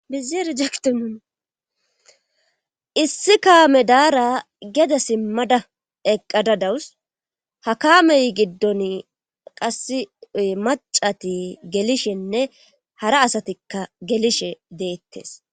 Bizeere jekiti nuuni issi kaame daara gede simmada eqqada dawus hakamey giddon qassy macati gelishenne hara asatikka gelishe deettes